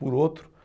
Por outro